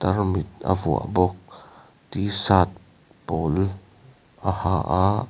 tarmit a vuah bawk t shirt pawl a ha a.